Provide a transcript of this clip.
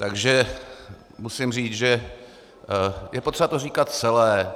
Takže musím říct, že je potřeba to říkat celé.